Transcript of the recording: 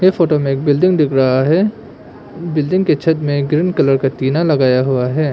इस फोटो में एक बिल्डिंग दिख रहा है बिल्डिंग के छत में एक ग्रीन कलर का टीना लगाया हुआ है।